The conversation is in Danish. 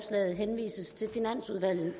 regeringen